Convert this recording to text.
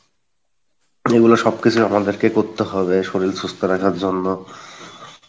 এগুলো সবকিছুই আমাদেরকে করতে হবে শরীল সুস্থ রাখার জন্য,